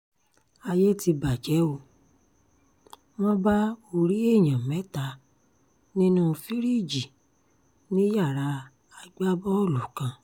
ayé ti bàjẹ́ ó wọ́n bá orí èèyàn mẹ́ta nínú fìríìjì ní yàrá agbábọ́ọ̀lù kan